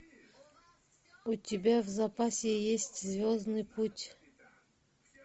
у тебя в запасе есть звездный путь